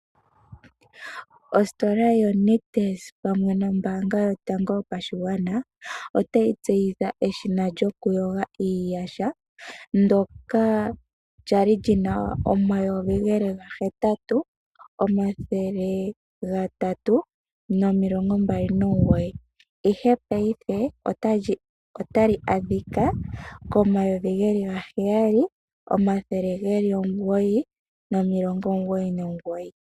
Ositola yo Nictus pamwe nombaanga yotango yopashigwana otayi tseyitha eshina lyoku yoga iiyaha ndoka lyali lina omayovi geli ga hetatu omathele gatatu nomilongo mbali nomugoyi ashike payife otali adhika pomayovi geli gaheyali nomilongo omugoyi nomugoyi.